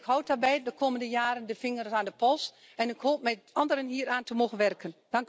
En ik houd daarbij de komende jaren de vingers aan de pols en ik hoop met anderen hieraan te mogen werken.